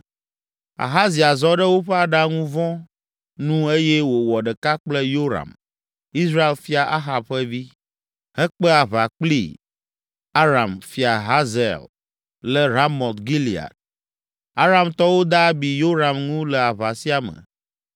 Ahazia zɔ ɖe woƒe aɖaŋu vɔ̃ nu eye wòwɔ ɖeka kple Yoram, Israel fia Ahab ƒe vi, hekpe aʋa kpli Aram fia Hazael le Ramot Gilead. Aramtɔwo de abi Yoram ŋu le aʋa sia me.